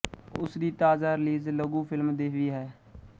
ਉਸ ਦੀ ਤਾਜ਼ਾ ਰਿਲੀਜ਼ ਲਘੂ ਫ਼ਿਲਮ ਦੇਵੀ ਹੈ